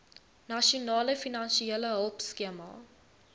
nasionale finansiële hulpskema